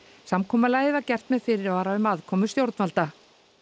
samkomulagið var gert með fyrirvara um aðkomu stjórnvalda